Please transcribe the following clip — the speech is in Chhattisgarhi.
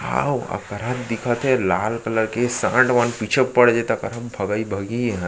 हाव अकरहा दिखत हे लाल कलर के सांड वांड पीछे पड़ जहि त अकहरा भगाई भगहि एह --